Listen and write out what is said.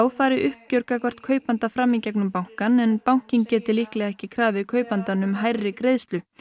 færi uppgjör gagnvart kaupanda fram í gegnum bankann en bankinn geti líklega ekki krafið kaupandann um hærri greiðslu